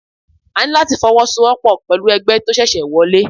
A ní láti fọwọ́ so wọ́pọ̀ pẹ̀lú ẹgbẹ́ tí ó ṣẹ̀ṣẹ̀ wọlé.